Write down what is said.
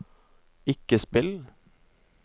ikke spill